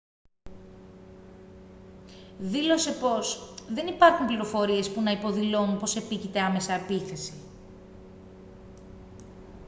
δήλωσε πως «δεν υπάρχουν πληροφορίες που να υποδηλώνουν πως επίκειται άμεσα επίθεση